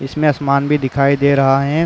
इसमें आसमान भी दिखाई दे रहा है।